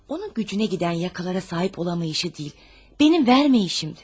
Onun gücünə gedən yaxalara sahib ola bilməməsi deyil, mənim verməməyim idi.